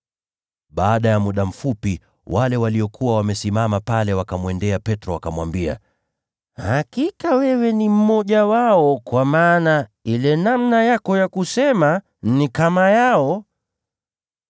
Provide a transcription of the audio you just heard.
Baada ya muda mfupi, wale waliokuwa wamesimama pale wakamwendea Petro, wakamwambia, “Hakika wewe ni mmoja wao, kwa maana usemi wako ni kama wao.”